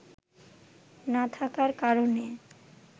না থাকার কারণে